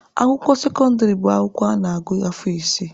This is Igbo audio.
Akwụkwọ sekọndịrị bụ akwụkwọ a na-agụ afọ isii.